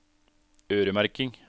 øremerking